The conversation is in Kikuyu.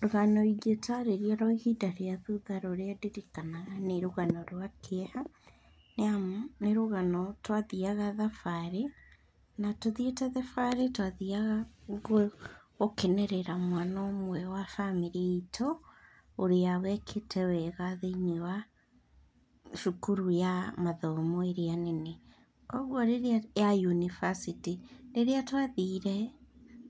Rũgano ingĩtarĩria rwa ihinda rĩa thutha rũrĩa ndirikanaga nĩ rũgano rwa kĩeha, nĩamu nĩ rũgano twathiaga thabarĩ na tũthiĩte thabarĩ twathiaga gũkenerera mwana ũmwe wa bamĩrĩ itũ, ũrĩa wekĩte wega thĩiniĩ wa cukuru ya mathomo ĩrĩa nene. Kuoguo rĩrĩa, ya yunibacĩtĩ. Rĩrĩa twathire